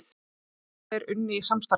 Mennirnir tveir unnu í samstarfi